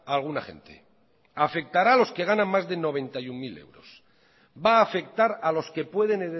a alguna gente afectará a los que ganan más de noventa y uno mil euros van a afectar a los que pueden